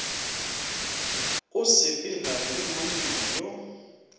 o sepela le monna yo